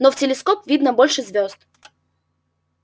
но в телескоп видно больше звёзд